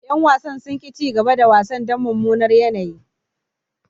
Yan wasan sun ki cigaba da wasan dan mumunar yanayi.